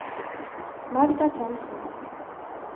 Magda Thomsen